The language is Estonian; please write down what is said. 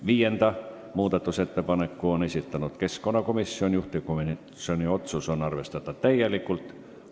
Viienda muudatusettepaneku on esitanud keskkonnakomisjon, juhtivkomisjoni otsus on arvestada täielikult.